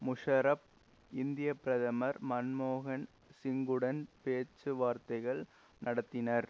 முஷாரஃப் இந்திய பிரதமர் மன்மோகன் சிங்குடன் பேச்சு வார்த்தைகள் நடத்தினர்